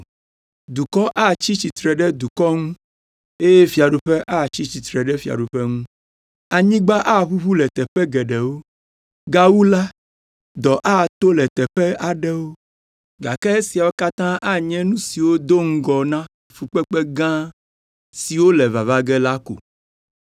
Dukɔ atsi tsitre ɖe dukɔ ŋu, eye fiaɖuƒe atsi tsitre ɖe fiaɖuƒe ŋu, anyigba aʋuʋu le teƒe geɖewo, gawu la, dɔ ato le teƒe aɖewo, gake esiawo katã anye nu siwo do ŋɔ na fukpekpe gã siwo le vava ge la ko.”